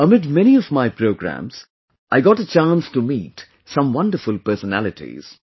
Amid many of my programmes, I got a chance to meet some wonderful personalities